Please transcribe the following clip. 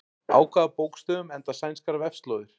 Á hvaða bókstöfum enda sænskar vefslóðir?